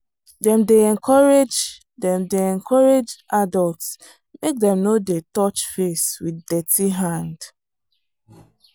dem dey encourage dem dey encourage adults make dem no dey touch face with dirty hand.